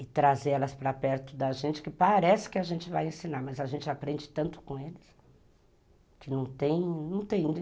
E trazer elas para perto da gente, que parece que a gente vai ensinar, mas a gente aprende tanto com eles.